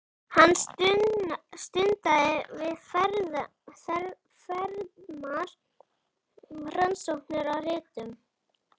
Hann stundaði víðfeðmar rannsóknir á ritun